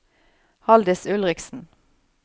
Halldis Ulriksen